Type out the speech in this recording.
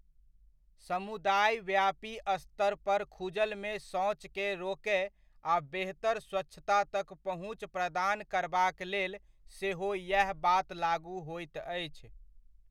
समुदायव्यापी स्तरपर खुजलमे शौचकेँ रोकय आ बेहतर स्वच्छता तक पहुँच प्रदान करबाक लेल सेहो येह बात लागू होइत अछि।